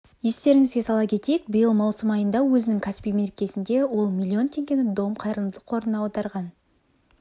естеріңізге сала кетейік биыл маусым айында өзінің кәсіби мерекесінде ол миллион теңгені дом қайырымдылық қорына аударған